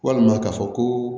Walima k'a fɔ ko